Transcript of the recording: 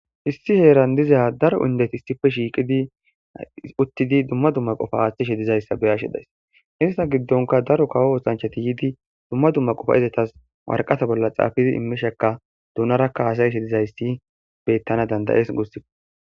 Issi heeran diza daro indeti issipe shiqidi uttidi duma duma qofa attishe dizaysa beyashe de'aysi eta gidonika daro kawo osanchati yidi duma duma qofa ezatas waraqata bolla xafidi immisheka donaraka hasa'ishe dizayit beetana danda'es gussako.